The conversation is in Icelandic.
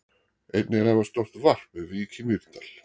Einnig er afar stórt varp við Vík í Mýrdal.